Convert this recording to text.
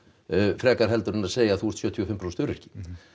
frekar heldur en að segja þú ert sjötíu og fimm prósent öryrki